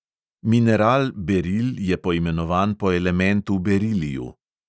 Mineral beril je poimenovan po elementu beriliju.